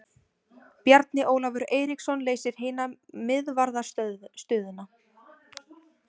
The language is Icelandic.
Bjarni Ólafur Eiríksson leysir hina miðvarðarstöðuna.